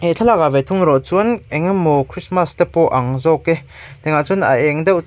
he thlalâkah ve thung erawh chuan eng emaw christmas te pawh a ang zâwk e tiangah chuan a êng deuh chuai --